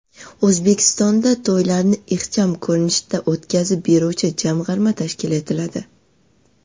O‘zbekistonda to‘ylarni ixcham ko‘rinishda o‘tkazib beruvchi jamg‘arma tashkil etiladi.